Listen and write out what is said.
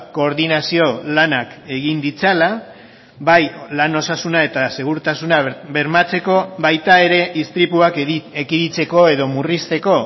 koordinazio lanak egin ditzala bai lan osasuna eta segurtasuna bermatzeko baita ere istripuak ekiditeko edo murrizteko